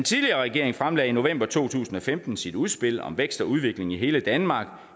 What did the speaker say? tidligere regering fremlagde i november to tusind og femten sit udspil om vækst og udvikling i hele danmark